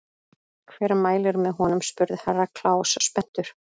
Hver mælir með honum spurði Herra Kláus spenntur.